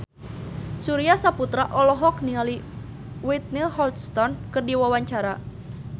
Surya Saputra olohok ningali Whitney Houston keur diwawancara